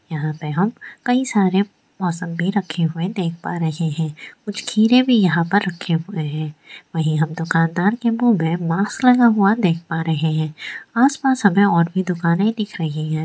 यहाँ पे हम कई सारे मौसमबी रखे हुए देख पा रहे हैं कुछ खीरे भी यहाँ पर रखे हुए हैं वहीं हम दुकानदार के मुँह में मार्क्स लगा हुआ देख पा रहे हैं आस पास हमे और भी दुकाने दिख रही है।